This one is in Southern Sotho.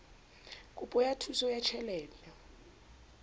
kopo ya thuso ya tjhelete